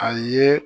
A ye